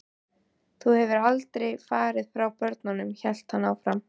Þú hefðir aldrei farið frá börnunum, hélt hann áfram.